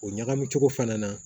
O ɲagami cogo fana na